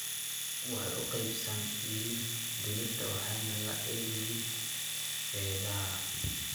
Waxay u qaabaysan yihiin digirta waxayna le'eg yihiin feedhaha.